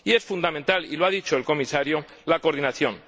Y es fundamental, y lo ha dicho el Comisario, la coordinación.